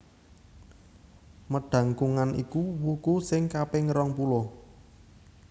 Medangkungan iku wuku sing kaping rongpuluh